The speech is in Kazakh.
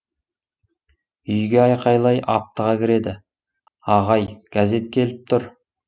үйге айқайлай аптыға кіреді ағай газетке келіп тұр